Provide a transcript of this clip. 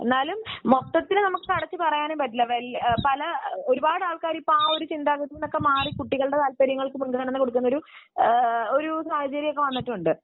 എന്നാലും മൊത്തത്തിൽ നമുക്ക് അടച്ചു പറയാൻ പറ്റില്ല. ഒരുപാട് ആൾക്കാർ ആ ഒരു ചിന്താഗതിയിൽനിന്ന് മാറി കുട്ടികളുടെ താൽപര്യങ്ങൾക്കു മുൻഗണന കൊടുക്കുന്ന ഒരു സാഹചര്യം വന്നിട്ടുണ്ട്